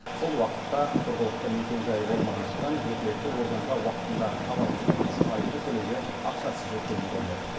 сол уақытта тұрғылықты мекенжайы болмағандықтан өкілетті органға уақытында хабарласпағаны үшін айыппұл төлеуге ақшасы жетпеген көрінеді